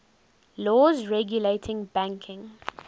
laws regulating banking